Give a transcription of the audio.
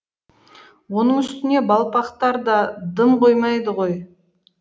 оның үстіне балпақтар да дым қоймайды ғой